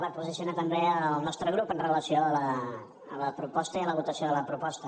per posicionar també el nostre grup amb relació a la proposta i a la votació de la proposta